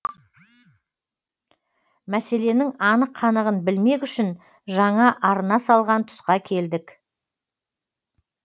мәселенің анық қанығын білмек үшін жаңа арна салған тұсқа келдік